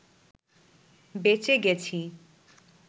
বেঁচে গেছি